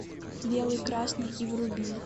белый красный и вруби